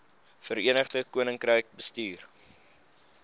verenigde koninkryk bestuur